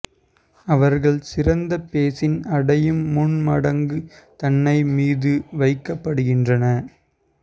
அவர்கள் சிறந்த பேசின் அடையும் முன் மடங்கு தன்னை மீது வைக்கப்படுகின்றன